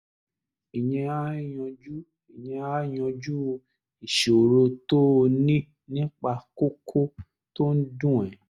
ìyẹn á yanjú ìyẹn á yanjú ìṣòro tó o ní nípa kókó tó ń dùn ẹ́